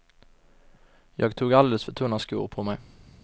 Jag tog alldeles för tunna skor på mig.